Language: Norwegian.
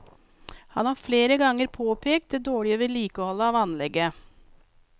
Han har flere ganger påpekt det dårlige vedlikeholdet av anlegget.